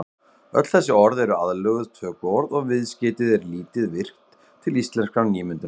Öll þessi orð eru aðlöguð tökuorð og viðskeytið er lítið virkt til íslenskrar nýmyndunar.